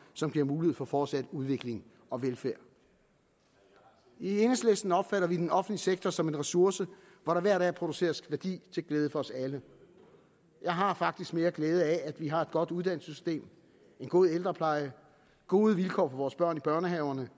som giver mulighed for fortsat udvikling og velfærd i enhedslisten opfatter vi den offentlige sektor som en ressource hvor der hver dag produceres værdi til glæde for os alle jeg har faktisk mere glæde af at vi har et godt uddannelsessystem en god ældrepleje gode vilkår for vores børn i børnehaverne